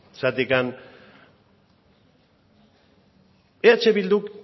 zergatik eh bilduk